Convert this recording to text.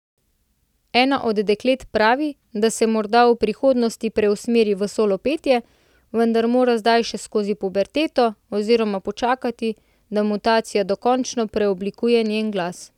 Ena od deklet pravi, da se morda v prihodnosti preusmeri v solo petje, vendar mora zdaj še skozi puberteto oziroma počakati, da mutacija dokončno preoblikuje njen glas.